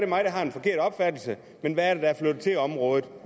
mig der har en forkert opfattelse men hvad er det der er flyttet til området